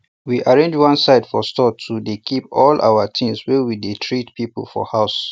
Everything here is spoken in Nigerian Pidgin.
we arrange one side for store to dey keep all our things wey we dey treat people for house